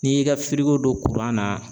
N'i y'i ka don na